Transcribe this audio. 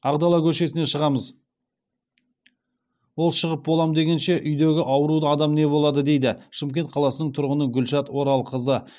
ақдала көшесіне шығамыз ол шығып болам дегенше үйдегі ауруды адам не болады дейді шымкент қаласының тұрғыны гүлшат оралқызы